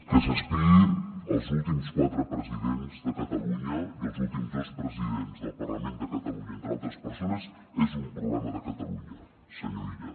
que s’espiï els últims quatre presidents de catalunya i els últims dos presidents del parlament de catalunya entre altres persones és un problema de catalunya senyor illa